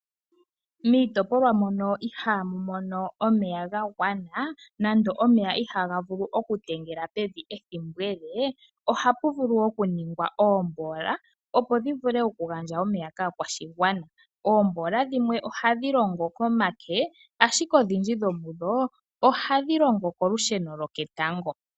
Miitopolwa mono ihaamu mono omeya ga gwana nenge omeya ihaa ga vulu oku talama pevi ethimbo ele. ohamu vulu okuningwa oomboola opo dhi vule okugandja omeya kaa kwashigwana. Oomboola dhimwe ohadhi longo komake ashike odhindji dhomudho ohadhi longo kolusheno loketango.